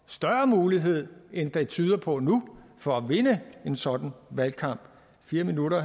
større mulighed end det tyder på nu for at vinde en sådan valgkamp fire minutter